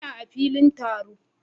Ina a filin taron